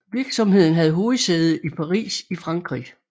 Virksomheden havde hovedsæde i Paris i Frankrig